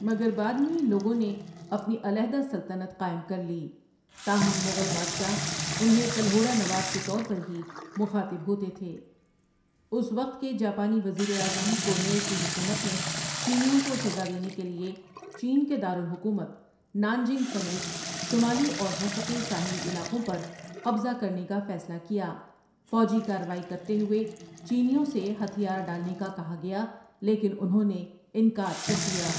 مگر بعد میں ان لوگوں نے اپنی علاحدہ سلطنت قائم کرلی تاہم مغل بادشاہ انہیں کلہوڑا نواب کے طور پر ہی مخاطب ہوتے تھے اُس وقت کے جاپانی وزیراعظم کونوئىے کی حکومت نے چینیوں کو سزا دینے کے لیے چین کے دار الحکومت نانجنگ سمیت شمالی اور مشرقی ساحلی علاقوں پر قبضہ کرنے کا فیصلہ کیا فوجی کاروائی کرتے ہوئے چینیوں سے ہتھیار ڈالنے کا کہا گیا لیکن اُنہوں نے انکار کر دیا۔